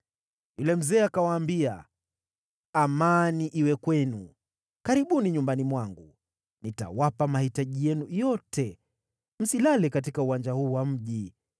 Yule mzee akawaambia, “Amani iwe kwenu! Karibuni nyumbani mwangu. Nitawapa mahitaji yenu yote, msilale katika uwanja huu wa mji.”